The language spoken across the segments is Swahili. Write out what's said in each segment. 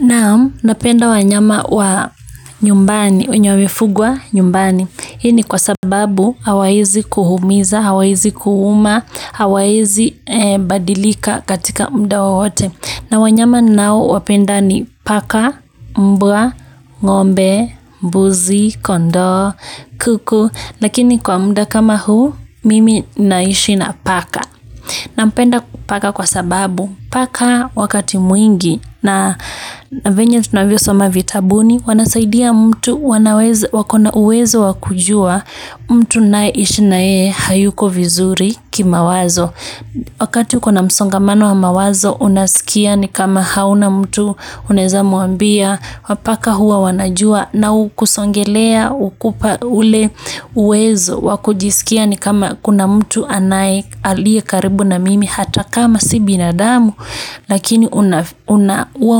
Naam, napenda wanyama wa nyumbani, wenye wamefugwa nyumbani. Hii ni kwa sababu, hawaizi kuhumiza, hawaizi kuhuma, hawaizi badilika katika mda wowote. Na wanyama ninao, wapenda ni paka, mbwa, ng'ombe, mbuzi, kondo, kuku. Lakini kwa mda kama huu, mimi naishi na paka. Nampenda paka kwa sababu, paka wakati mwingi na venye tunavyo soma vitabuni, wanasaidia mtu wako na uwezo wa kujua mtu ninae ishi na yeye hayuko vizuri kimawazo. Wakati uko na msongamano wa mawazo unasikia ni kama hauna mtu unaeza mwambia, paka huwa wanajua na hukusongelea hukupa ule uwezo wa kujisikia ni kama kuna mtu anaye, alie karibu na mimi hata kama si binadamu. Lakini huwa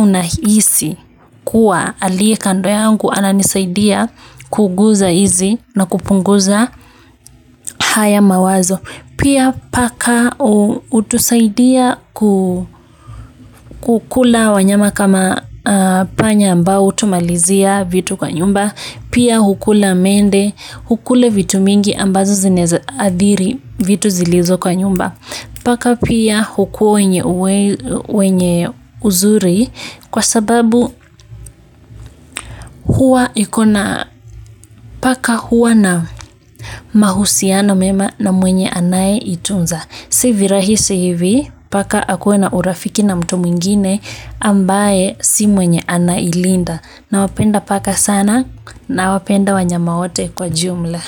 unahisi kuwa aliye kando yangu ananisaidia kuguza hizi na kupunguza haya mawazo. Pia paka hutusaidia ku, kukula wanyama kama panya ambao hutumalizia vitu kwa nyumba, pia hukula mende, hukule vitu mingi ambazo zinaeza adhiri vitu zilizo kwa nyumba. Paka pia hukuwa wenye uzuri kwa sababu, huwa ikona, paka huwa na mahusiano mema na mwenye anaye itunza. Si virahisi hivi paka akuwe na urafiki na mtu mwingine ambaye si mwenye anailinda. Nawapenda paka sana, nawapenda wanyama wote kwa jumla.